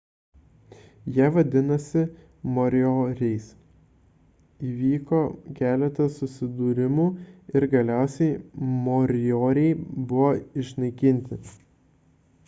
jie vadinosi morioriais įvyko keletas susidūrimų ir galiausiai morioriai buvo išnaikinti